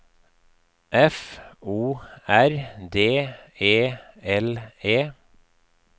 F O R D E L E